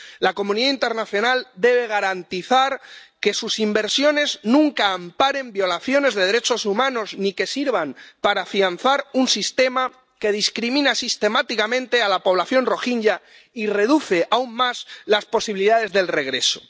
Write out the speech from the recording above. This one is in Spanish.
La comunidad internacional debe garantizar que sus inversiones nunca amparen violaciones de derechos humanos ni que sirvan para afianzar un sistema que discrimina sistemáticamente a la población rohinyá y reduce aún más las posibilidades del regreso.